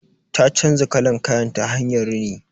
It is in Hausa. Ta canza kalan kayan ta hanyar rini.